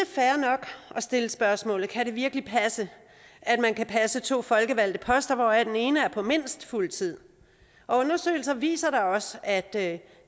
stille spørgsmålet kan det virkelig passe at man kan passe to folkevalgte poster hvoraf den ene er på mindst fuld tid og undersøgelser viser da også at